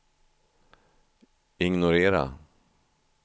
ignorera